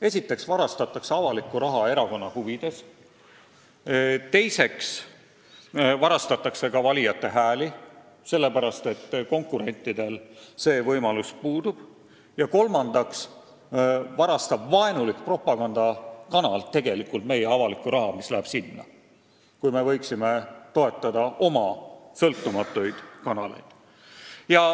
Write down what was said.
Esiteks varastatakse avalikku raha erakonna huvides, teiseks varastatakse valijate hääli – konkurentidel see võimalus puudub – ja kolmandaks varastab vaenulik propagandakanal tegelikult meie avalikku raha, samal ajal kui me võiksime toetada oma sõltumatuid kanaleid.